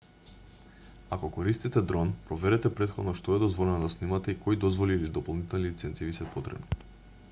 ако користите дрон проверете претходно што е дозволено да снимате и кои дозволи или дополнителни лиценци ви се потребни